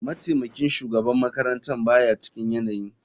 Mataimakin shugaban makarantar ba ya cikin yanayi.